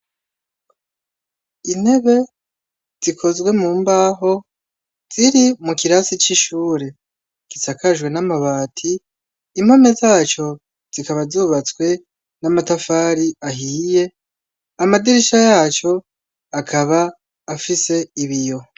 Intebe zikozwe mumbaho ziri mukirasi c'ishure gisakajwe n'amabati, impome zaco zikaba zubatswe n'amatafari ahiye, amadirisha yaco akaba afise ibiyo.